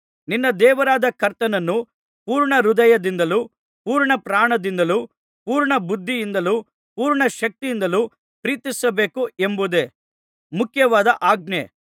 ನಿನ್ನ ದೇವರಾದ ಕರ್ತನನ್ನು ಪೂರ್ಣಹೃದಯದಿಂದಲೂ ಪೂರ್ಣಪ್ರಾಣದಿಂದಲೂ ಪೂರ್ಣ ಬುದ್ಧಿಯಿಂದಲೂ ಪೂರ್ಣ ಶಕ್ತಿಯಿಂದಲೂ ಪ್ರೀತಿಸಬೇಕು ಎಂಬುದೇ ಮುಖ್ಯವಾದ ಆಜ್ಞೆ